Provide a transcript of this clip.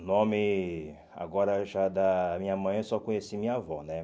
O nome agora já da minha mãe, eu só conheci minha avó, né?